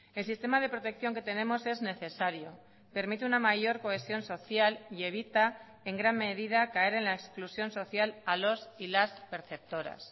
el sistema de protección que tenemos es necesario permite una mayor cohesión social y evita en gran medida caer en la exclusión social a los y las perceptoras